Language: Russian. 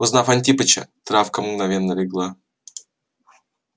узнав антипыча травка мгновенно легла